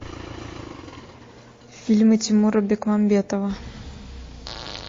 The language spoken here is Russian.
фильмы тимура бекмамбетова